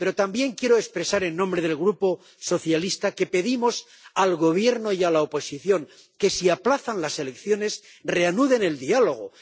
Pero también quiero expresar en nombre del Grupo SD que pedimos al Gobierno y a la oposición que, si aplazan las elecciones, reanuden el diálogo